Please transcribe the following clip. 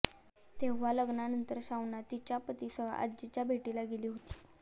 तेव्हा लग्नानंतर शाउना तिच्या पतीसह आजीच्या भेटीला गेली होती